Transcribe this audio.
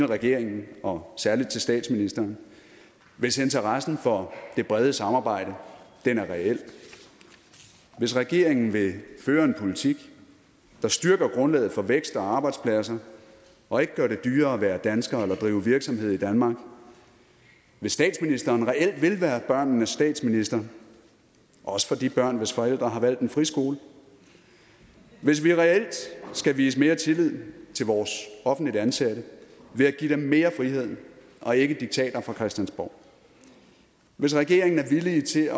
regeringen og særlig til statsministeren hvis interessen for det brede samarbejde er reel hvis regeringen vil føre en politik der styrker grundlaget for vækst og arbejdspladser og ikke gør det dyrere at være dansker eller drive virksomhed i danmark hvis statsministeren reelt vil være børnenes statsminister også for de børn hvis forældre har valgt en friskole hvis vi reelt skal vise mere tillid til vores offentligt ansatte ved at give dem mere frihed og ikke diktater fra christiansborg hvis regeringen er villig til